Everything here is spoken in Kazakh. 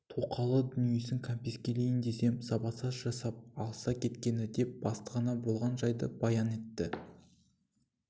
тоқалы дүниесін кәмпескелейін десем сабатаж жасап алыса кеткені деп бастығына болған жайды баян етті